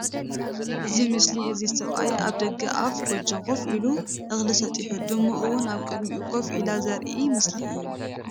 እዚ ምስሊ እዙይ ስብኣይ ኣብ ደገ ኣፍ ጎጆ ኮፍ ኢሉ እክሊ ስጢሑ ድሙ እዉን ኣብ ቅድሚኡ ኮፍ ኢላ ዝርኢ ምስሊ እዩ ።